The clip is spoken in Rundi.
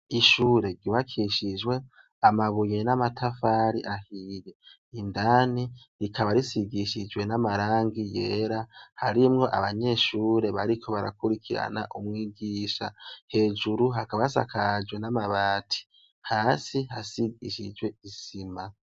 Ishure ryubakishijwe amabuye n'amatafari ahiye. Indani rikaba risigishijwe n'amarangi yera harimwo abanyeshure bariko barakurikirana umwigisha. Hejuru hakaba hasakajwe n'amabati hasi isizwe isima.